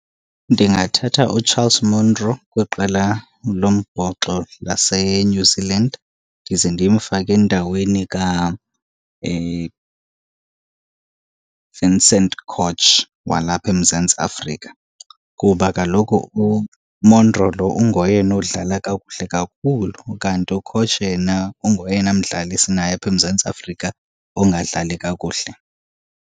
Ndingathatha uCharles Monro kwiqela lombhoxo laseNew Zealand ndize ndimfake endaweni Vincent Koch walapha eMzantsi Afrika. Kuba kaloku uMonro lo ungoyena odlala kakuhle kakhulu ukanti uKoch yena ungoyena mdlali sinaye apha eMzantsi Afrika ongadlali kakuhle.